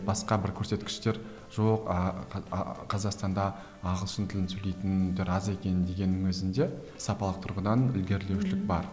басқа бір көрсеткіштер жоқ қазақстанда ағылшын тілін сөйлейтіндер аз екен дегеннің өзінде сапалық тұрғыдан ілгерілушілік бар